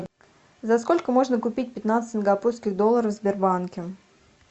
за сколько можно купить пятнадцать сингапурских долларов в сбербанке